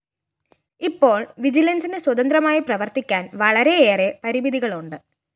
ഇപ്പോള്‍ വിജിലന്‍സിന് സ്വതന്ത്രമായി പ്രവര്‍ത്തിക്കാന്‍ വളരെയേറെ പരിമിതികളുണ്ട്